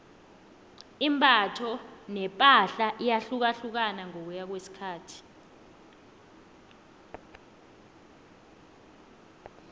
imbatho nepahla iyahlukahlukana ngokuya ngokwesikhathi